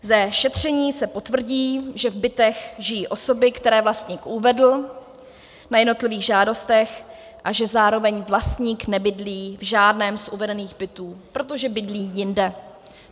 Ze šetření se potvrdí, že v bytech žijí osoby, které vlastník uvedl na jednotlivých žádostech, a že zároveň vlastník nebydlí v žádném z uvedených bytů, protože bydlí jinde.